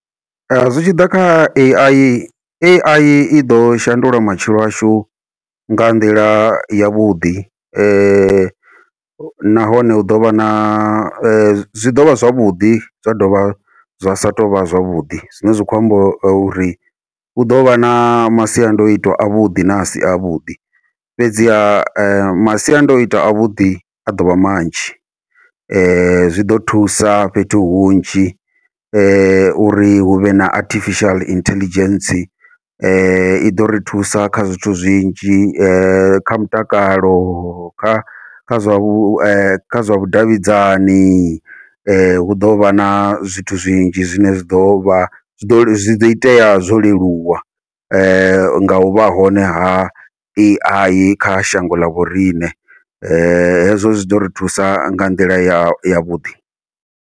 Zwi tshi ḓa kha Ai, Ai iḓo shandula matshilo ashu nga nḓila yavhuḓi nahone hu ḓovha na zwi ḓovha zwavhuḓi zwa dovha zwa sa tou vha zwavhuḓi, zwine zwa khou amba uri hu ḓovha na masiandoitwa avhuḓi na asi avhuḓi fhedzi ha masiandoitwa avhuḓi a ḓovha manzhi zwi ḓo thusa fhethu hunzhi uri huvhe na artificial intelligence iḓo ri thusa kha zwithu zwinzhi kha mutakalo, kha kha zwa vhushaka zwa vhudavhidzani hu ḓovha na zwithu zwinzhi zwine zwi ḓovha zwi ḓo zwi do itea zwo leluwa, ngau vha hone ha Ai kha shango ḽa vhoriṋe hezwo zwi ḓo ri thusa nga nḓila ya yavhuḓi.